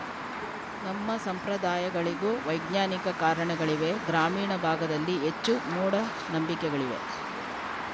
ನಮ್ಮ ಸಂಪ್ರದಾಯಗಳಿಗೂ ವೈಜ್ಞಾನಿಕ ಕಾರಣಗಳಿವೆ ಗ್ರಾಮೀಣ ಭಾಗದಲ್ಲಿ ಹೆಚ್ಚು ಮೂಢ ನಂಬಿಕೆಗಳಿವೆ